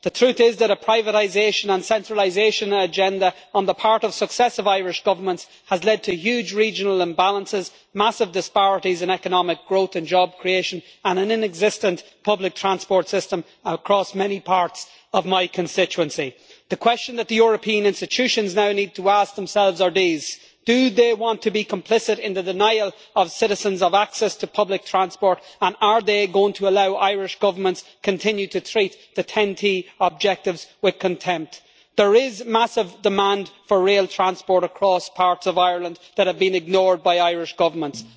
The truth is that a privatisation and centralisation agenda on the part of successive Irish governments has led to huge regional imbalances, massive disparities in economic growth and job creation, and an inexistent public transport system across many parts of my constituency. The questions that the European institutions now need to ask themselves are these do they want to be complicit in denying citizens to access to public transport, and are they going to allow Irish governments to continue to treat the trans European transport network objectives with contempt? There is massive demand for rail transport across parts of Ireland that have been ignored by Irish governments.